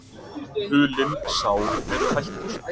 Hulin sár eru hættust.